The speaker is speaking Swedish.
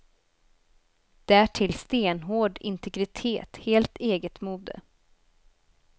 Därtill stenhård integritet, helt eget mode.